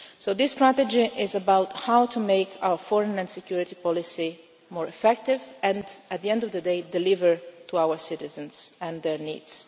time. This strategy is about how to make our foreign and security policy more effective and, at the end of the day, deliver to our citizens and their